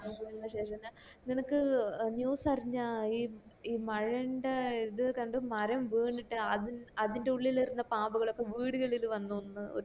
ള്ള ശേഷം ഞാൻ നിനക്ക് news അറിഞ്ഞ ഈ ഈ മഴൻറെ ഇത് കണ്ടു മരം വീണിറ്റ് അത് അതിന്റെ ഉള്ളിൽ ഇരുന്ന പാമ്പ്കാളോക്കെ വീട്കളിൽ വന്നു ന്ന് ഒരു